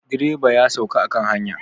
Direba ya sauka a kan hanya.